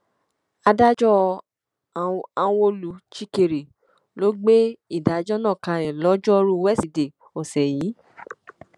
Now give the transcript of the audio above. adájọ anwolu chikeré ló gbé ìdájọ náà kalẹ lojoruu wesidee ọsẹ yìí